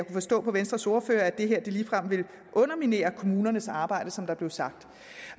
forstå på venstres ordfører at det her ligefrem ville underminere kommunernes arbejde som der blev sagt